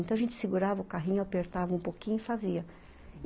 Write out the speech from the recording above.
Então a gente segurava o carrinho, apertava um pouquinho e fazia.